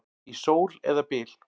Í sól eða byl.